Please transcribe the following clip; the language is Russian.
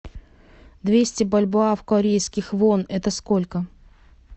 двести бальбоа в корейских вон это сколько